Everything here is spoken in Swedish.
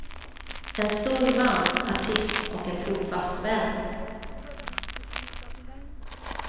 En stor man, artist och en trofast vän.